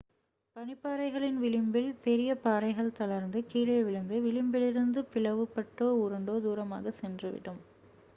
பனிப்பாறைகளின் விளிம்பில் பெரிய பாறைகள் தளர்ந்து கீழே விழுந்து விளிம்பிலிருந்து பிளவுபட்டோ உருண்டோ தூரமாக சென்றுவிடும்